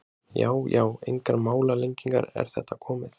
Já já, engar málalengingar, er þetta komið?